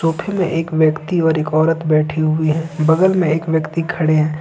सोफे मैं एक व्यक्ति और एक औरत बैठी हुई है बगल में एक व्यक्ति खड़े हैं।